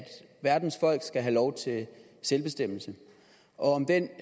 verdens folk skal have lov til selvbestemmelse og om den